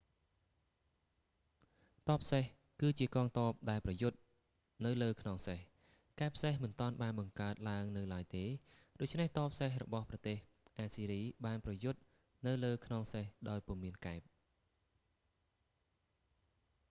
ទ័ពសេះ គឺជាកងទ័ពដែលប្រយុទ្ធនៅលើខ្នងសេះ កែបសេះមិនទាន់បានបង្កើតឡើងនៅឡើយទេ ដូច្នេះទ័ពសេះរបស់ប្រទេសអាស្ស៊ីរីបានប្រយុទ្ធនៅលើខ្នងសេះដោយពុំមានកែប